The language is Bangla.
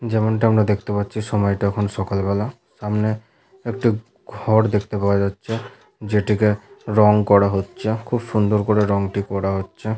যেমনটা আমরা দেখতে পাচ্ছি সময়টা এখন সকাল বেলা। সামনে একটি ঘর দেখতে পাওয়া যাচ্ছে যেটিকে রং করা হচ্ছে খুব সুন্দর করে রংটি করা হচ্ছে ।